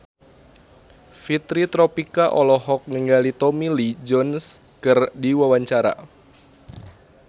Fitri Tropika olohok ningali Tommy Lee Jones keur diwawancara